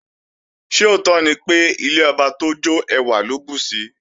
Ṣé òótọ́ ni pé, ilé ọba tó jọ́ ẹwà ló bùsi?